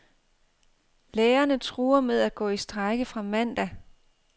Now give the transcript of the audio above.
Lærerne truer med at gå i strejke fra mandag.